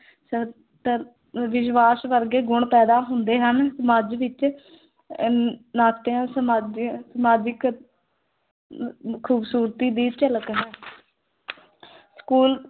ਵਿਸ਼ਵਾਸ ਵਰਗੇ ਗੁਣ ਪੈਦਾ ਹੁੰਦੇ ਹਨ, ਸਮਾਜ ਵਿੱਚ ਅਹ ਨਾਤਿਆਂ ਸਮਾਜਿਕ ਅਮ ਖ਼ੂਬਸੂਰਤੀ ਦੀ ਝਲਕ ਹੈ school